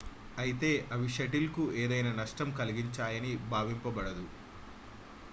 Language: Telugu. అయితే అవి షటిల్ కు ఏదైనా నష్టం కలిగించాయని భావింపబడదు